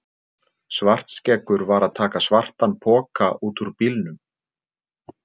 Svartskeggur var að taka svartan poka út úr bílnum.